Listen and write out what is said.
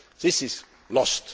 This is lost.